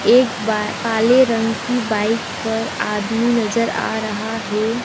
एक बार काले रंग की बाइक पर आदमी नजर आ रहा है।